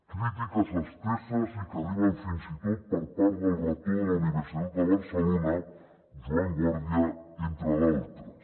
crítiques esteses i que arriben fins i tot per part del rector de la universitat de barcelona joan guàrdia entre d’altres